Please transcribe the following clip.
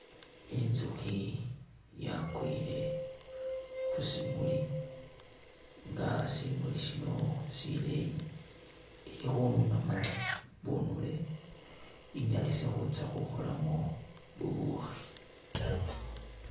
Inzukhi yakwile khu simuli nga simuli sino sileeyi, ili khununamu bunule inyalise khutsa khukholamu bubukhi.